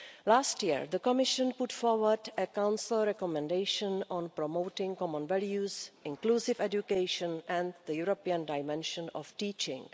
Last year, the Commission put forward a Council recommendation on promoting common values, inclusive education and the European dimension of teaching.